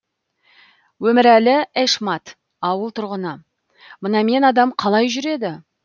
өмірәлі эшмат ауыл тұрғыны мынамен адам қалай жүреді